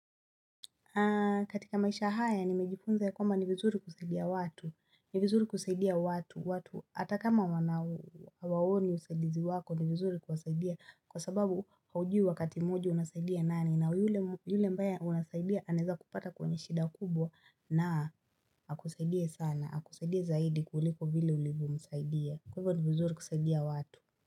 Katika maisha haya nimejifunza ya kwamba ni vizuri kusaidia watu, ni vizuri kusaidia watu, watu hata kama wana waoni usaidizi wako ni vizuri kuwasaidia kwa sababu haujui wakati moja unasaidia nani na yule yule ambaye unasaidia anaeza kupata kwenye shida kubwa na akusaidie sana, akusaidie zaidi kuliko vile ulivyomsaidia. Kwa hivyo ni vizuri kusaidia watu.